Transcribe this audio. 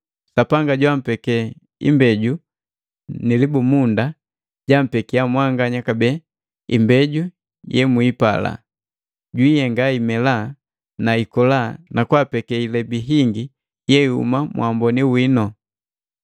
Sapanga joampeke imbeju nu libumunda, jampekiya mwanganya kabee imbeju yemwiipala, jaihenga imela na ikola na nakapeke ilebi hingi yeihuma muwamboni wino.